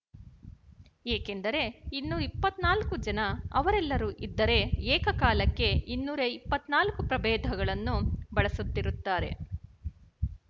ಏಕೆಂದರೆ ಇನ್ನೂ ಇಪ್ಪತ್ತ್ ನಾಲ್ಕು ಜನ ಅವರೆಲ್ಲರೂ ಇದ್ದರೆ ಏಕಕಾಲಕ್ಕೆ ಇನ್ನೂರ ಇಪ್ಪತ್ತ್ ನಾಲ್ಕು ಪ್ರಭೇದಗಳನ್ನು ಬಳಸುತ್ತಿರುತ್ತಾರೆ